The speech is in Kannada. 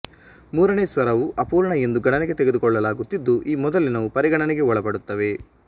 ಮೂರನೇ ಸ್ವರವು ಅಪೂರ್ಣ ಎಂದು ಗಣನೆಗೆ ತೆಗೆದುಕೊಳ್ಳಲಾಗುತ್ತಿದ್ದು ಈ ಮೊದಲಿನವು ಪರಿಗಣನೆಗೆ ಒಳಪಡುತ್ತವೆ